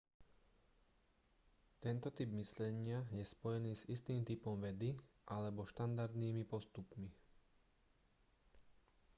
tento typ myslenia je spojený s istým typom vedy alebo štandardnými postupmi